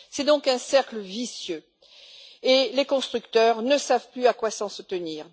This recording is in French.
C'est donc un cercle vicieux et les constructeurs ne savent plus à quoi s'en tenir.